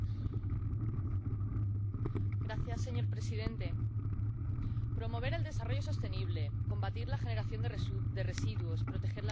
Señor presidente, promover el desarrollo sostenible, combatir la generación de residuos, proteger la biodiversidad, etcétera, etcétera.